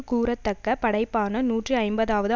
கூறத்தக்க படைப்பான நூற்றி ஐம்பதாவது